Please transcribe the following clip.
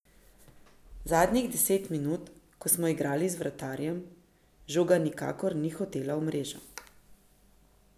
Zadnjih deset minut, ko smo igrali z vratarjem, žoga nikakor ni hotela v mrežo.